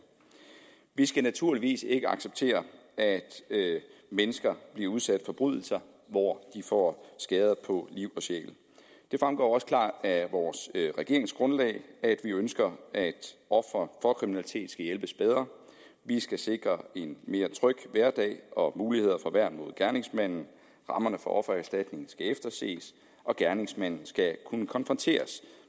vi skal naturligvis ikke acceptere at mennesker bliver udsat for forbrydelser hvor de får skader på liv og sjæl det fremgår også klart af vores regeringsgrundlag at vi ønsker at ofre for kriminalitet skal hjælpes bedre vi skal sikre en mere tryg hverdag og mulighed for værn mod gerningsmanden rammerne for offererstatning skal efterses og gerningsmanden skal kunne konfronteres